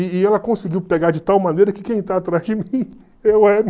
E ela conseguiu pegar de tal maneira que quem está atrás de mim é